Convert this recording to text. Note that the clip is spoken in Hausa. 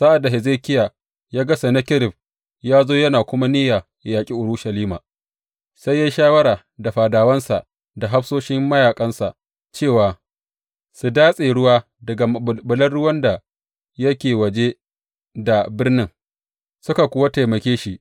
Sa’ad da Hezekiya ya ga Sennakerib ya zo yana kuma niyya yă yaƙi Urushalima, sai ya yi shawara da fadawansa da hafsoshin mayaƙansa cewa su datse ruwa daga maɓulɓulan ruwan da yake waje da birnin, suka kuwa taimake shi.